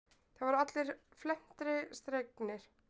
Það voru allir felmtri slegnir.